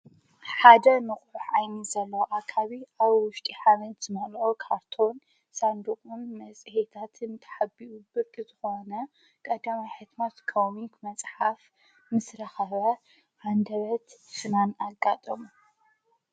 ሓደ ምቑሕ ዓይኒ ዘሎ ኣካባቢ ኣብ ዉሽጢ ሓልዮት ዝመልኦ ካርቶን ሳንድምም መፅሄታትን ተሓቢኡ ብርቂ ዝኾነ ቀደማይ ሕትመት ከምኡ መጽሓፍ ምስ ረኸብዎ ሃንደበት ሽናን ኣጋጦም፡፡